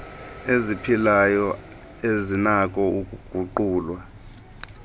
eziphilayo ezinakho ukuguqulwa